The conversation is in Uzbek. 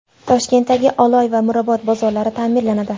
Toshkentdagi Oloy va Mirobod bozorlari ta’mirlanadi.